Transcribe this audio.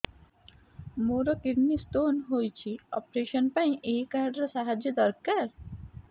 ମୋର kidney stone ହଇଛି operation ପାଇଁ ଏହି କାର୍ଡ ର ସାହାଯ୍ୟ ଦରକାର